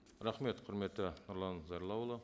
рахмет құрметті нұрлан зайроллаұлы